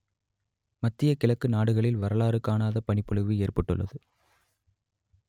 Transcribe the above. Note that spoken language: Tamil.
மத்திய கிழக்கு நாடுகளில் வரலாறு காணாத பனிப்பொழிவு ஏற்பட்டுள்ளது